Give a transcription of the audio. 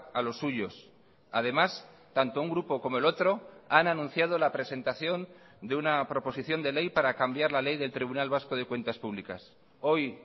a los suyos además tanto un grupo como el otro han anunciado la presentación de una proposición de ley para cambiar la ley del tribunal vasco de cuentas públicas hoy